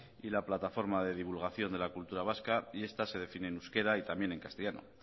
y la plataforma de divulgación de la cultura vasca y esta se define en euskera y también en castellano